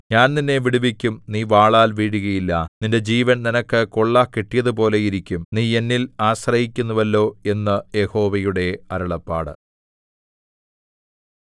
ഞാൻ നിന്നെ വിടുവിക്കും നീ വാളാൽ വീഴുകയില്ല നിന്റെ ജീവൻ നിനക്ക് കൊള്ള കിട്ടിയതുപോലെ ഇരിക്കും നീ എന്നിൽ ആശ്രയിച്ചിരിക്കുന്നുവല്ലോ എന്ന് യഹോവയുടെ അരുളപ്പാട്